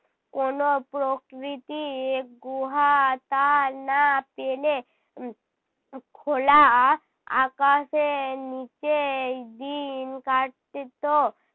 কোনো প্রকৃতিক গুহা। তা না পেলে উহ খোলা আকাশের নিচেই দিন কাট তো।